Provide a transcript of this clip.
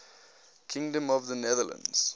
kingdom of the netherlands